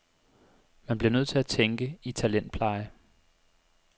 Man bliver nødt til at tænke i talentpleje.